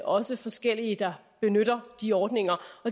også forskellige der benytter de ordninger